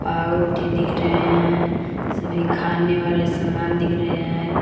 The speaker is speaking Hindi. पावरोटी दिख रहे हैं सभी खाने वाले समान दिख रहे हैं।